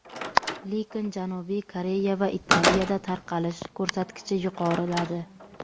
Lekin Janubiy Koreya va Italiyada tarqalish ko‘rsatkichi yuqoriladi.